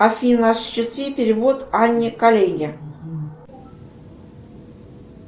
афина осуществи перевод анне коллеге